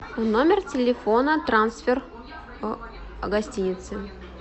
номер телефона трансфер гостиницы